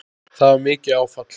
Það var mikið áfall.